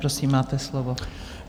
Prosím, máte slovo.